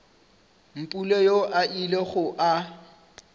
mpule yoo a ilego a